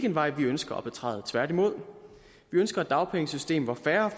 en vej vi ønsker at betræde tværtimod vi ønsker et dagpengesystem hvor færre